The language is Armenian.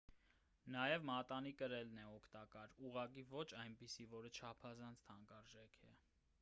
նաև մատանի կրելն է օգտակար ուղղակի ոչ այնպիսին որը չափազանց թանկարժեք է: